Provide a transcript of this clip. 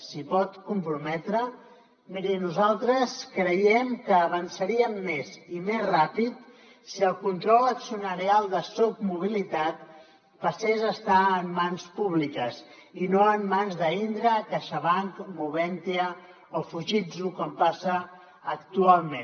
s’hi pot comprometre miri nosaltres creiem que avançaríem més i més ràpid si el control accionarial de soc mobilitat passés a estar en mans públiques i no en mans d’indra caixabanc moventia o fujitsu com passa actualment